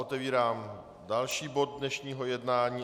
Otevírám další bod dnešního jednání.